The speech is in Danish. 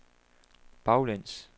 baglæns